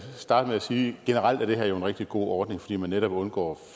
generelt er det her jo en rigtig god ordning fordi man netop undgår